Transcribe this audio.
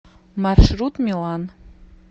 маршрут милан